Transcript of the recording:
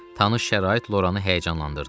Tanış şərait Loranı həyəcanlandırdı.